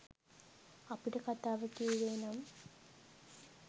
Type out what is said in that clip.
අපිට කතාව කිව්වෙ නම්